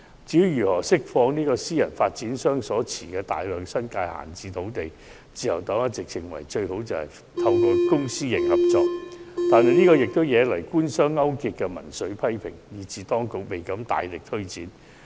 至於如何釋放私人發展商所持的大量新界閒置土地，自由黨一直認為，最佳方法是以公私營合作方式發展，但相關建議惹來官商勾結的民粹批評，以致當局未敢大力推展。